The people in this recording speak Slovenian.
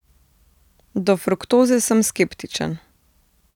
Do fruktoze sem skeptičen.